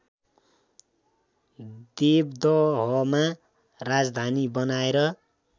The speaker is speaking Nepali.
देवदहमा राजधानी बनाएर